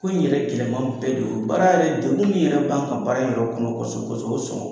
Ko in yɛrɛ gɛlɛman bɛɛ de y'o ye. Baara yɛrɛ dekun min yɛrɛ b'an kan baara in yɛrɛ kɔnɔ kosɛbɛ-kosɛbɛ kosɔn